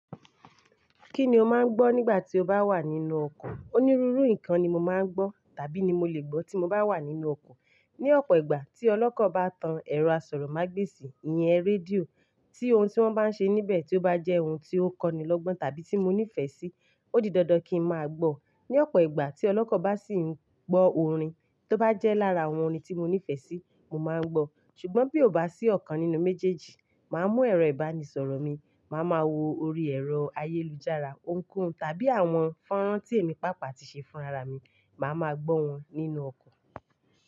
Kí ni o máa ń gbọ́ nígbà tí o bá wà nínú ọkọ̀? Onírúurú nǹkan ni mo máa ń gbọ́ tàbí ni mo lè gbọ́ tí mo bá wà nínú ọkọ̀. Ni ọ̀pọ̀ ìgbà tí ọlọ́kọ̀ bá tan ẹ̀rọ asọ̀rọ̀mágbèsì, ìyẹn rédíò, tí ohun tí wọ́n bá ń ṣe níbẹ̀ tí ó bá jẹ́ ohun tí ó kọ́ni lọ́gbọ́n tàbí tí mo nífẹ̀ẹ́ sí, ó di dandan kí n máa gbọ́. Ni ọ̀pọ̀ ìgbà tí ọlọ́kọ̀ bá sì ń gbọ́ orin tó bá jẹ́ lára àwọn orin tí mo nífẹ̀ẹ́ sí, mo máa ń gbọ́. Ṣùgbọ́n bí ó bá sí ọ̀kan nínú méjèèjì, màá mú ẹ̀rọ ìbánisọ̀rọ̀ mi, màá ma wo orí ẹ̀rọ ayélujára, ohunkóhun tàbí àwọn fọ́nrán tí èmi pàápàá ti ṣe fún ara mi, màá ma gbọ́ wọn nínú ọkọ̀.